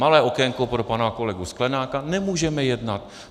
Malé okénko pro pana kolegu Sklenáka: nemůžeme jednat.